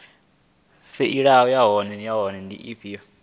faili yavho nahone i do